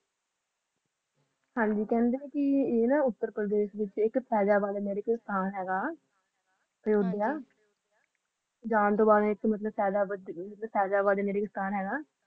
ਹਨ ਜੀ ਕਹਿੰਦੇ ਹੈ ਉੱਤਰ ਪਰਦੇਸ਼ ਦੇ ਵਿਚ ਫੈਜ਼ਾਬਾਦ ਇਕ ਕ਼ਬਰਿਸਟਾਂ ਹੈਗਾ ਹਾਂਜੀ ਅਯੁਧਿਆ ਜਾਨ ਤੋਂ ਬਾਦ ਇਕ ਫੈਜ਼ਾਬਾ ਕਬਰਿਸਤਾਨ ਹੈਗਾ